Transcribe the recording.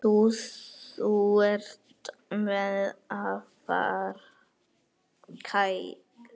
Þú ert mér afar kær.